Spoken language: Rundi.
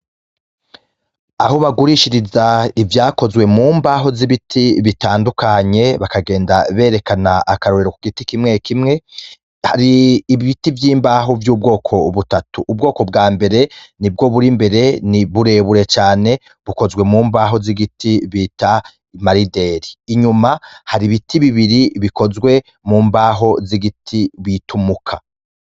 Aho bagurishiriza ivyakozwe mu mbaho z'ibiti bitandukanye bakagenda berekana akarorero ku giti kimwe kimwe hari ibiti vy'imbaho vy'ubwoko butatu ubwoko bwa mbere ni bwo buri mbere ni burebure cane bukozwe mu mbaho z'igiti bita imarideri inyuma hari ibiti bibiri bikozwe mu mbaho z'igiti bitumuka.